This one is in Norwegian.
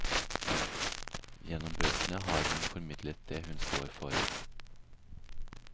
Gjennom bøkene har hun formidlet det hun står for.